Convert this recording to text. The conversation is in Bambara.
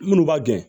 Minnu b'a gɛn